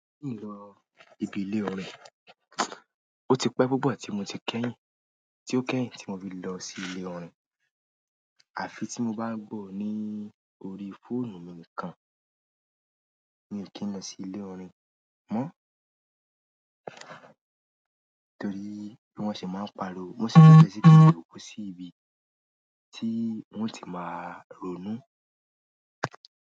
Mi lọ ibi ilé orin, ó ti pẹ́ púpọ̀ tí mo ti kẹ́yìn, tí o kẹ́yìn tí mo ti lọ sí ilé orin àfi tí mo bá gbọ́ orín ni orí fóònù mi nìkan. Mi ò kí ń lọ sí ilé òrin mọ́. Torí bí wọ́n ṣe máa ń pariwo, wọ́n sì fẹ́ ṣí tìtì òkú sí ibi tí wọn ti máa ronú.